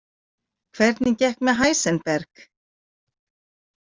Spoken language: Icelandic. Hvernig gekk með Heisenberg?